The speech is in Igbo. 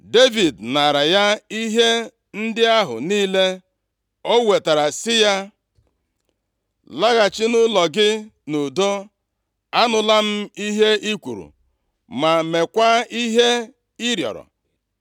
Devid naara ya ihe ndị ahụ niile o wetara sị ya, “Laghachi nʼụlọ gị nʼudo. Anụla m ihe i kwuru ma meekwa ihe ị rịọrọ.”